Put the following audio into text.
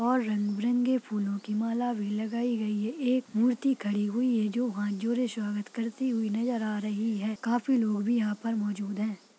और रंग बीरंगे फूलो की माला भी लगायी गयी है एक मूर्ति खड़ी हुई है जो हाथ जोड़े स्वागत करती नजर आ रही है काफी लोग भी यहाँ पर मौजूद है ।